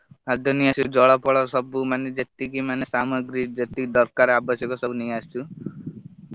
ଖାଦ୍ୟ ନେଇ ଆସି କି ଜଳ ଫଳ ସବୁ ମାନେ ଯେତିକି ମାନେ ସାମଗ୍ରୀ ଯେତିକି ଦରକାର ଆବଶ୍ୟକ ସବୁ ନେଇ ଆସିଚୁ।